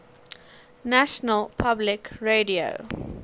national public radio